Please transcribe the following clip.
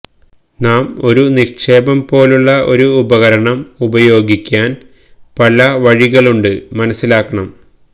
നാം ഒരു നിക്ഷേപം പോലുള്ള ഒരു ഉപകരണം ഉപയോഗിക്കാൻ പല വഴികളുണ്ട് മനസ്സിലാക്കണം